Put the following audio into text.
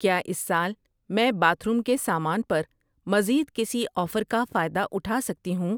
کیا اس سال میں باتھ روم کے سامان پر مزید کسی آفر کا فائدہ اٹھا سکتی ہوں؟